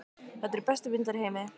Þetta eru bestu vindlar í heimi.